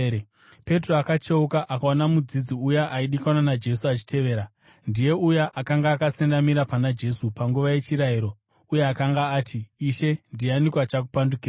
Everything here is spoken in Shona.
Petro akacheuka akaona mudzidzi uya aidikanwa naJesu achivatevera. (Ndiye uya akanga akasendamira pana Jesu panguva yechirariro uye akanga ati, “Ishe ndianiko achakupandukirai?”)